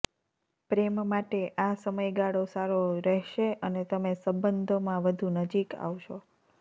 પ્રેમ માટે આ સમયગાળો સારો રહેશે અને તમે સંબંધોમાં વધુ નજીક આવશો